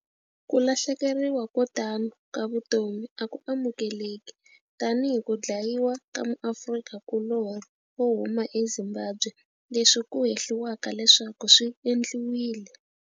Ku lahlekeriwa ko tano ka vutomi a ku amukeleki, tanihi ku dlayiwa ka muAfrika kulorhi wo huma eZimbabwe leswi ku hehliwaka leswaku swi endliwile.